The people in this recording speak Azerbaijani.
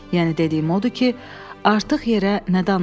Yəni dediyim odur ki, artıq yerə nə danışım.